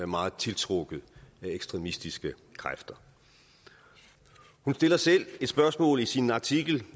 meget tiltrukket af ekstremistiske kræfter hun stiller selv et spørgsmål i sin artikel